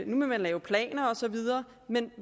nu vil lave planer og så videre men